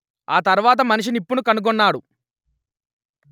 ఆ తర్వాత మనిషి నిప్పును కనుగొన్నాడు